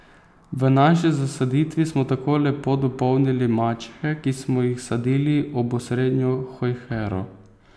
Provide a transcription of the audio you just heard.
V naši zasaditvi smo tako lepo dopolnili mačehe, ki smo jih sadili ob osrednjo hojhero.